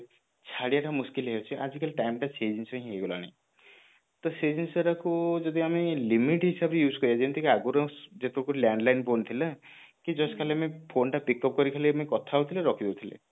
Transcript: ଛାଡିବା ଟା ମୁସ୍କିଲ ହେଇ ଯାଉଛି ଆଜିକାଲି time ଟା ସେଇ ଜିନିଷ ହିଁ ହେଇ ଗଲାଣି ତ ସେଇ ଜିନିଷଟାକୁ ଯଦି ଆମେ limit ହିସାବରେ use କରିବା ଯେମିତି କି ଆଗରୁ landline phone ଥିଲା କି just ଖାଲି ଆମେ phone ଟା pickup କରିକି ଆମେ ଖାଲି କଥା ହଉଥିଲେ ରଖି ଦଉଥିଲେ